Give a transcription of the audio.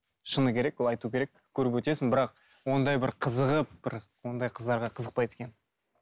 шыны керек ол айту керек көріп өтесің бірақ ондай бір қызығып бір ондай қыздарға қызықпайды екенмін